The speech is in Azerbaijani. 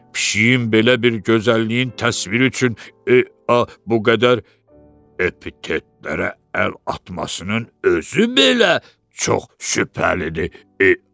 Pişiyin belə bir gözəlliyin təsviri üçün bu qədər epitetlərə əl atmasının özü belə çox şübhəlidir.